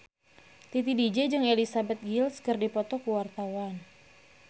Titi DJ jeung Elizabeth Gillies keur dipoto ku wartawan